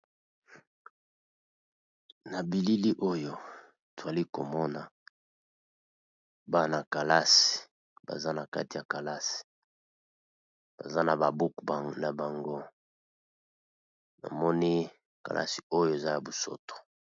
Na bilili oyo twali komona bana kalasi baza na kati ya kalasi baza na ba buku na bango namoni kalasi oyo eza ya bosoto.